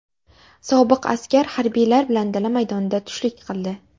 Sobiq askar harbiylar bilan dala maydonida tushlik qildi.